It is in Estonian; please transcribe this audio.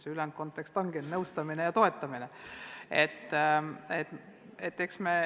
See ülejäänud kontekst ongi ainult nõustamine ja toetamine.